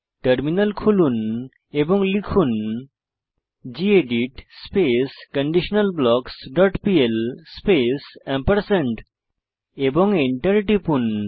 terminal খুলুন এবং লিখুন gedit space conditional blocks dot pl space এবং এন্টার টিপুন